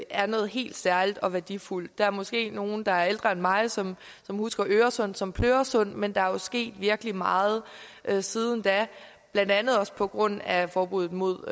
er noget helt særligt og værdifuldt der er måske nogle der er ældre end mig som husker øresund som pløresund men der er jo sket virkelig meget meget siden da blandt andet også på grund af forbuddet mod